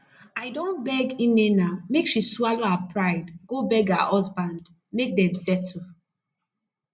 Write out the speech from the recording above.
i don tell nnenna make she swallow her pride go beg her husband make dem settle